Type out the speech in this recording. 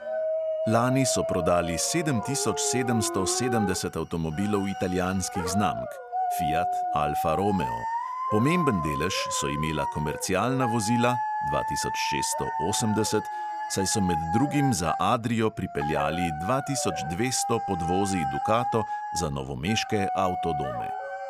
Lani so prodali sedem tisoč sedemsto sedemdeset avtomobilov italijanskih znamk (fiat, alfa romeo), pomemben delež so imela komercialna vozila (dva tisoč šeststo osemdeset), saj so med drugim za adrio pripeljali dva tisoč dvesto podvozij dukato za novomeške avtodome.